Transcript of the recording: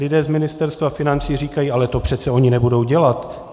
Lidé z Ministerstva financí říkají: ale to přeci oni nebudou dělat.